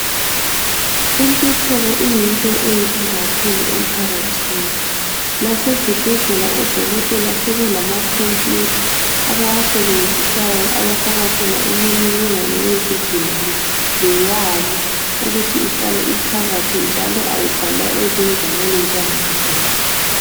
Intuthuko iyinto enhle kakhulu emphakathini asezibhedlela oDokotela sebelamakhompuyutha abawasebenzisayo abafaka khona imininingwane yezigulane leyabo ukuthi ihlale iphakathi njalo ayibhalwa ezingwalweni njengakudala